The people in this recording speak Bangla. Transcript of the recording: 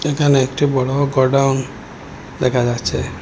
এখানে একটি বড় গোডাউন দেখা যাচ্ছে।